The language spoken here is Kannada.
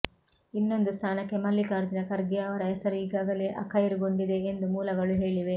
ಇನ್ನೊಂದು ಸ್ಥಾನಕ್ಕೆ ಮಲ್ಲಿಕಾರ್ಜುನ ಖರ್ಗೆ ಅವರ ಹೆಸರು ಈಗಾಗಲೇ ಅಖೈರುಗೊಂಡಿದೆ ಎಂದು ಮೂಲಗಳು ಹೇಳಿವೆ